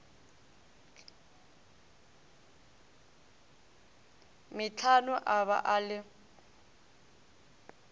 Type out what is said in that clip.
metlhano a ba a le